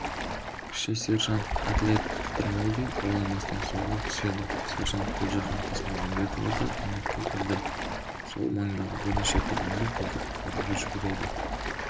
кіші сержант әділет қыдырмолдин ойланбастан суға түседі сержант гүлжахан тасмағанбетова да көмекке келеді сол маңдағы бірнеше тұрғын да қызды құтқаруға жүгіреді